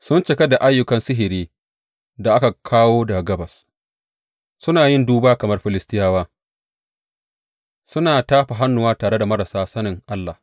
Sun cika da ayyukan sihiri da aka kawo daga Gabas; suna yin duba kamar Filistiyawa suna tafa hannuwa tare da marasa sanin Allah.